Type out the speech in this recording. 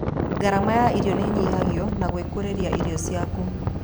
Gharama ya irio nĩnyihagio na gwĩkũrĩria irio ciaku